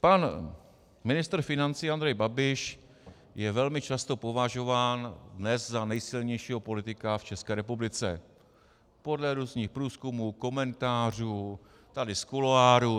Pan ministr financí Andrej Babiš je velmi často považován dnes za nejsilnějšího politika v České republice podle různých průzkumů, komentářů tady z kuloárů.